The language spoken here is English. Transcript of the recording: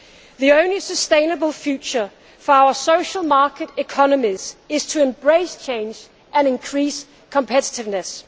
The only sustainable future for our social market economies is to embrace change and increase competitiveness.